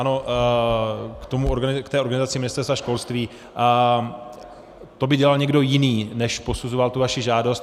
Ano, k té organizaci Ministerstva školství, to by dělal někdo jiný, než posuzoval tu vaši žádost.